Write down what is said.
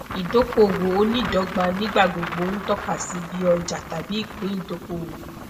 idokowo oniidogba nigbagbogbo ntọka si bi oja tabi ipin idokowo